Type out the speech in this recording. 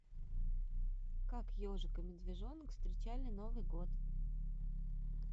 как ежик и медвежонок встречали новый год